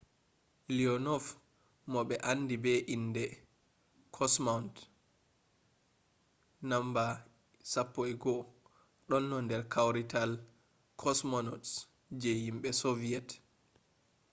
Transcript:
leonov mo ɓe andi be inde kosmaunt no.11” ɗonno nder kawrital kosmonauts je himɓe soviyet